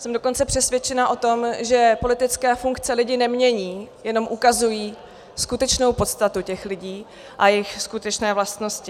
Jsem dokonce přesvědčena o tom, že politické funkce lidi nemění, jen ukazují skutečnou podstatu těch lidí a jejich skutečné vlastnosti.